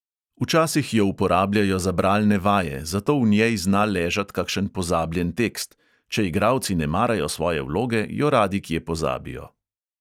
Včasih jo uporabljajo za bralne vaje, zato v njej zna ležat kakšen pozabljen tekst; če igralci ne marajo svoje vloge, jo radi kje pozabijo.